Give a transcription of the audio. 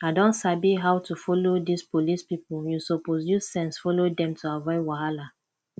i don sabi how to follow dis police people you suppose use sense follow dem to avoid wahala